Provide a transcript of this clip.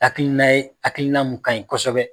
Hakili na ye, hakilina mun kanɲi kosɛbɛ.